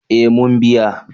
Eh mun biya